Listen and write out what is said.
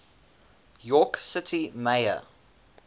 york city mayor